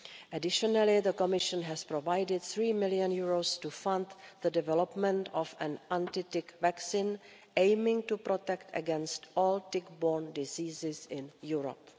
Additionally, the Commission has provided EUR 3 million to fund the development of an anti tick vaccine aiming to protect against all tick borne diseases in Europe.